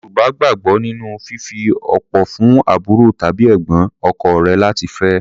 Àọn Yorùbá gbàgbọ́ nínú fífi opó fún àbúrò tàbí ẹ̀gbọ́n ọkọ rẹ̀ láti fẹ́.